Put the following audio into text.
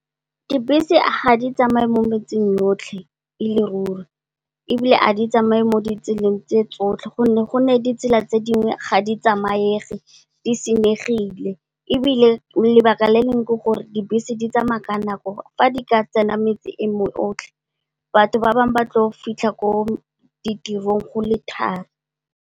Dibese ga di tsamaye mo metseng yotlhe e le ruri ebile, a di tsamaye mo di tseleng tse tsotlhe gonne, ditsela tse dingwe ga di tsamaege, di senyegile ebile, lebaka le leng ke gore dibese di tsamaya ka nako. Fa di ka tsena metsi e yotlhe batho ba bangwe ba tlo fitlha ko ditirong go le thari.